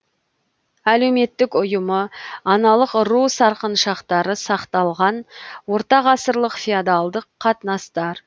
әлеуметтік ұйымы аналық ру сарқыншақтары сақталған ортағасырлық феодалдық қатынастар